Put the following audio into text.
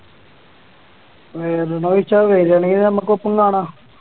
വരണൊന്നു ചോദിച്ച വരുവാണെങ്കി നമുക്ക് ഒപ്പം കാണാം